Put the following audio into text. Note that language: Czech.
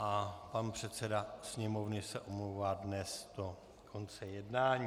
A pan předseda Sněmovny se omlouvá dnes do konce jednání.